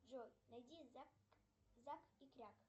джой найди зак и кряк